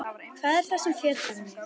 Hvað er það sem fjötrar mig?